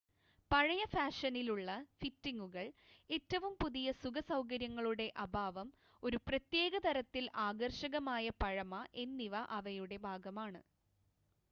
പഴയ ഫാഷനിലുള്ള ഫിറ്റിങ്ങുകൾ ഏറ്റവും പുതിയ സുഖ സൗകര്യങ്ങളുടെ അഭാവം ഒരു പ്രത്യേക തരത്തിൽ ആകർഷകമായ പഴമ എന്നിവ അവയുടെ ഭാഗമാണ്